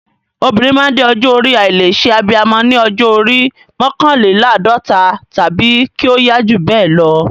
Obìnrin máa ń dé ọjọ́ orí àìlè ṣe abiyamọ ní ọjọ́ orí mọ́kànléláàdọ́ta tàbí kí ó yá jù bẹ́ẹ̀ lọ.